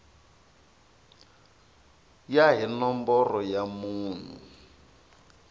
ya hi nomboro ya munhu